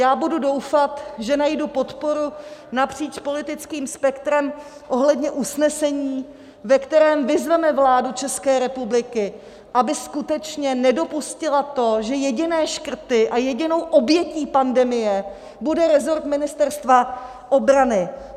Já budu doufat, že najdu podporu napříč politickým spektrem ohledně usnesení, ve kterém vyzveme vládu České republiky, aby skutečně nedopustila to, že jediné škrty a jedinou obětí pandemie bude resort Ministerstva obrany.